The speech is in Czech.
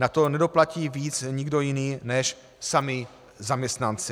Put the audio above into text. Na to nedoplatí víc nikdo jiný než sami zaměstnanci.